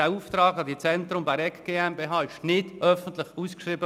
Der Auftrag an die Zentrum Bäregg GmbH wurde nicht öffentlich ausgeschrieben.